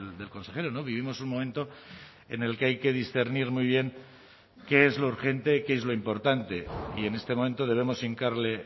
del consejero no vivimos un momento en el que hay que discernir muy bien qué es lo urgente qué es lo importante y en este momento debemos hincarle